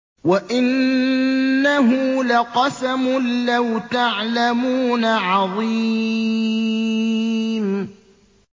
وَإِنَّهُ لَقَسَمٌ لَّوْ تَعْلَمُونَ عَظِيمٌ